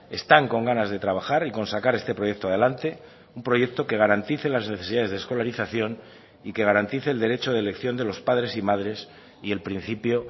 están con ganas de trabajar y con sacar este proyecto adelante un proyecto que garantice las necesidades de escolarización y que garantice el derecho de elección de los padres y madres y el principio